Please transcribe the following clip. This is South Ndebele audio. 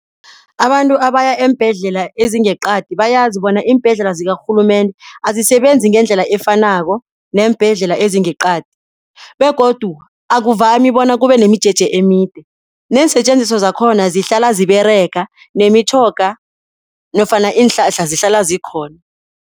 Abantu abaya eembhedlela ezingeqadi bayazi bona iimbhedlela zikarhulumende azisebenzi ngendlela efanako neembhedlela ezingeqadi begodu akuvami bona kubenemijeje emide neensetjenziswa zakhona zihlala ziberega nemitjhoga nofana iinhlahla zihlala zikhona.